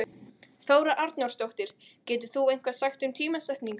Þóra Arnórsdóttir: Getur þú eitthvað sagt um tímasetningu?